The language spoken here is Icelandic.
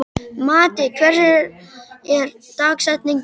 Matti, hver er dagsetningin í dag?